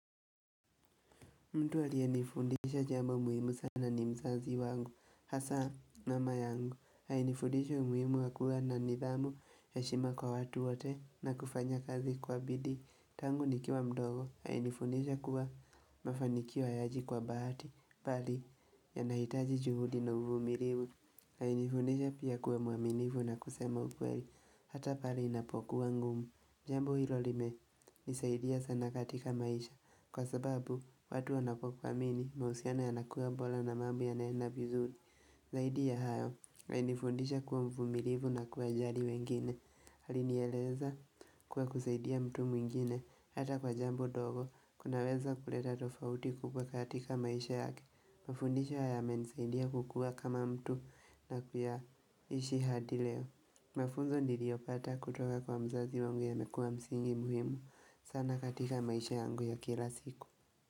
Mtu aliyenifundisha jambo muhimu sana ni mzazi wangu, hasa mama yangu, alinifundisha umuhimu wa kuwa na nidhamu heshima kwa watu wote na kufanya kazi kwa bidii, tangu nikiwa mdogo, alinifundisha kuwa mafanikio hayaji kwa bahati, bali yanahitaji juhudi na uvumilivu, aliinifundisha pia kuwa mwaminifu na kusema ukweli, hata pale inapokuwa ngumu, jambo hilo limenisaidia sana katika maisha Kwa sababu, watu wanapokumini, mahusiano yanakua bora na mambo yanaenda vizuri zaidi ya hayo, alinifundisha kuwa mvumilivu na kuwajali wengine alinieleza kuwa kusaidia mtu mwingine Hata kwa jambo dogo, kunaweza kuleta tofauti kubwa katika maisha yake Mafundisho haya yamenisaidia kukua kama mtu na kuyaishi hadi leo Mafunzo niliopata kutoka kwa mzazi wangu yamekua msingi muhimu sana katika maisha yangu ya kila siku.